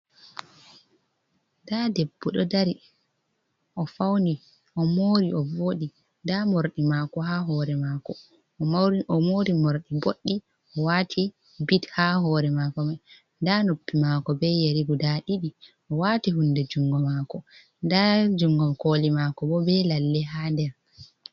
Ɗa ɗebbo ɗo dari ofauni,o mori,o vooɗi. Ɗa morɗi mako ha hore mako o mori morɗi boɗɗi o wati bit ha hore mako mai. Ɗa nuppi mako be yari guɗa ɗiɗi o wati hunɗe jungo mako. Ɗa jungol koli mako bo be lalle ha ɗer.